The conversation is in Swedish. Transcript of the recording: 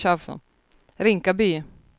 Rinkaby